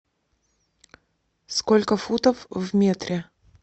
сколько футов в метре